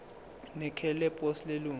nekheli leposi lelunga